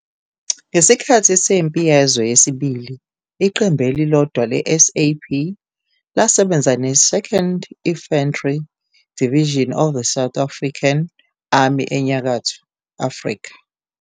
Ngesikhathi seMpi Yezwe Yesibili, iqembu elilodwa le-SAP lasebenza ne- 2nd Infantry Division of the South African Army eNyakatho Afrika.